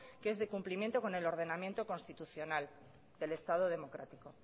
que es de cumplimiento con el ordenamiento constitucional del estado democrático